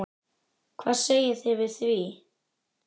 Hvað segið þið við því?